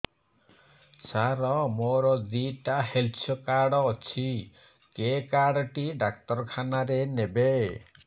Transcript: ସାର ମୋର ଦିଇଟା health card ଅଛି କେ କାର୍ଡ ଟି ଡାକ୍ତରଖାନା ରେ ନେବେ